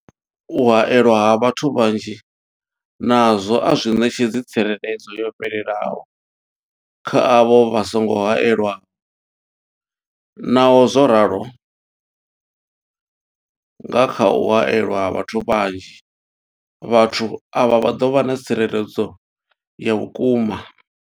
U haelwa ha vhathu vhanzhi nazwo a zwi ṋetshedzi tsireledzo yo fhelelaho kha avho vha songo haelwaho, naho zwo ralo, nga kha u haelwa ha vhathu vhanzhi, vhathu avha vha ḓo vha na tsireledzo ya vhukuma.